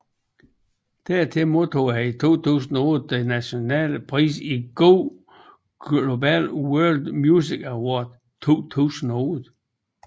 Dertil modtog han i 2008 den nationale pris i Go Global World Music Award 2008